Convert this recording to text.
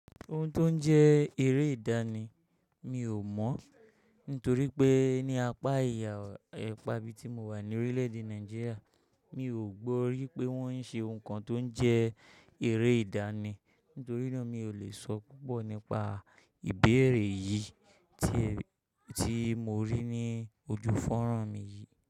Ohun tó ń jẹ́ eré ìdáni mi ò mọ̀ nítorí pé ní apá ìhà apà ibi tí mo wà ní orílẹ̀èdè Nàìjíríà, mi ò gbọ́ ri wípé wọ́n ń ṣe ohun kan tó ń jẹ́ eré ìdáni. Nítorí náà mi ò lè sọ púpọ̀ nípa ìbéèrè yìí tí mó rí ní ojú fọ́ran mi yìí.